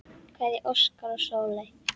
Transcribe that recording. Kveðja, Óskar og Sóley.